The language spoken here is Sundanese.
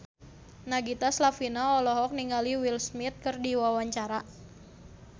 Nagita Slavina olohok ningali Will Smith keur diwawancara